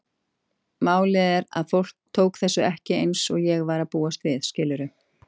Málið var að fólk tók þessu ekki eins og ég var að búast við, skilurðu?